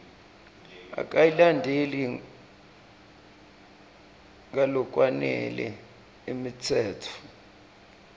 akayilandzeli ngalokwanele imitsetfo